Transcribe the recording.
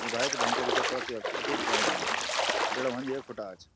ये भाई तो भेंकर कसरत च यख खुटुग कनु आज पीड़ा हुंदी ये खुटा आज।